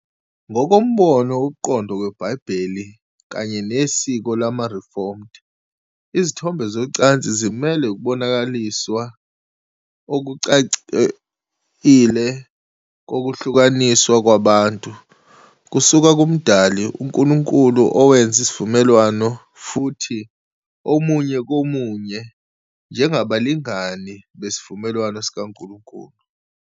Ngokombono wokuqondwa kweBhayibheli kanye nesiko lamaReformed, izithombe zocansi zimele ukubonakaliswa okucacile kokuhlukaniswa kwabantu- kusuka kumdali uNkulunkulu owenza izivumelwano futhi omunye komunye njengabalingani besivumelwano sikaNkulunkulu.